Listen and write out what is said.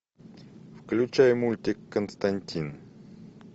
включай мультик константин